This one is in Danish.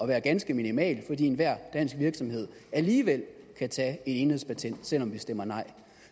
være ganske minimal fordi enhver dansk virksomhed alligevel kan tage et enhedspatent selv om vi stemmer nej